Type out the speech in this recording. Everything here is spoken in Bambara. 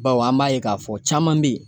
Bawo an b'a ye k'a fɔ caman be ye